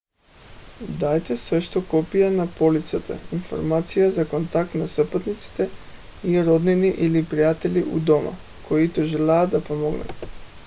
дайте също копия на полицата/информация за контакт на спътниците и роднини или приятели у дома които желаят да помогнат